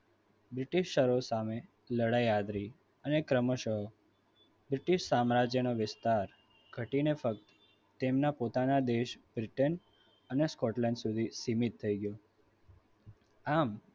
british ઓ સામે લડાઈ આદરી અને ક્રમશ british સામ્રાજ્યનો વિસ્તાર ઘટીને ફક્ત તેમને પોતાના દેશ britain અને scotland સુધી સીમિત થઈ ગયો. આમ